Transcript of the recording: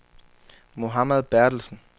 Mohammad Berthelsen